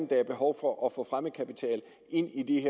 der er behov for at få fremmed kapital ind i